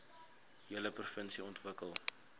hele provinsie ontwikkel